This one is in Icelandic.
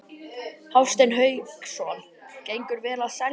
Hafsteinn Hauksson: Gengur vel að selja?